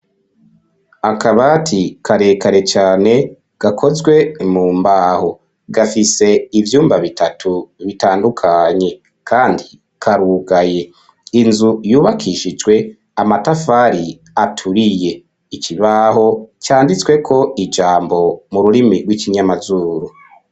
Akabati, karekare cane, gakozwe mu mbaho; gafise ivyumba bitatu, bitandukanye, kandi karugaye; inzu yubakishijwe amatafari, aturiye; ikibaho, canditsweko ijambo, mu rurimi rw'ikinyamazuru.